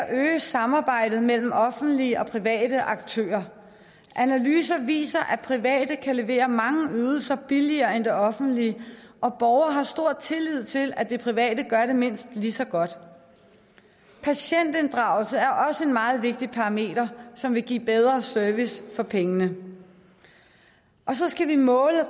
at øge samarbejdet mellem offentlige og private aktører analyser viser at private kan levere mange af ydelserne billigere end det offentlige og borgere har stor tillid til at det private gør det mindst lige så godt patientinddragelse er også en meget vigtig parameter som vil give bedre service for pengene og så skal vi måle det